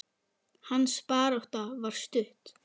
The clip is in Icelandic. Hans barátta var stutt.